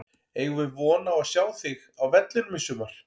Eigum við von á að sjá þig á vellinum í sumar?